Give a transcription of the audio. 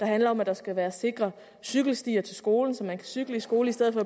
handler om at der skal være sikre cykelstier til skolen så man kan cykle i skole i stedet